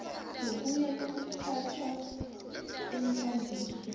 ngokuya ngokuphathwa kweekambiso